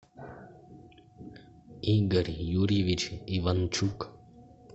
игорь юрьевич иванчук